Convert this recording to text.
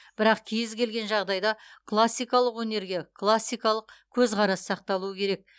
бірақ кез келген жағдайда классикалық өнерге классикалық көзқарас сақталуы керек